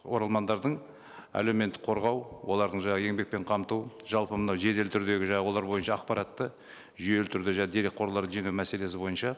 оралмандардың әлеуметтік қорғау олардың жаңа еңбекпен қамту жалпы мынау жедел түрдегі жаңа олар бойынша ақпаратты жүйелі түрде дерекқорлар жинау мәселесі бойынша